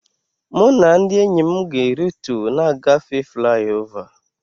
Mụ na ndị enyi m ga e ritu na-agafe fliova